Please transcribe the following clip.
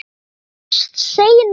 Sjáumst seinna.